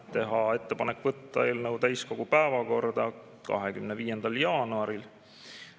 Teha ettepanek võtta eelnõu täiskogu päevakorda 25. jaanuaril.